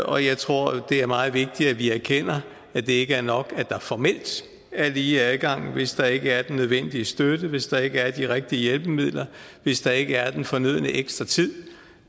og jeg tror det er meget vigtigt at vi erkender at det ikke er nok at der formelt er lige adgang hvis der ikke er den nødvendige støtte hvis der ikke er de rigtige hjælpemidler hvis der ikke er den fornødne ekstra tid